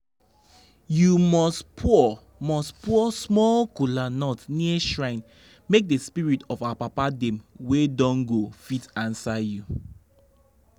you must pour must pour small kola nut near shrine make the spirit of our papa dem wey don go fit answer you.